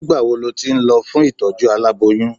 Nígbà wo lo ti ń lọ fún ìtọ́jú aláboyun?